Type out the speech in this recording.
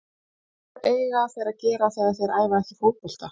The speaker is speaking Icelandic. Hvað eiga þeir að gera þegar þeir æfa ekki fótbolta?